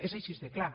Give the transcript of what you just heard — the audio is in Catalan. és així de clar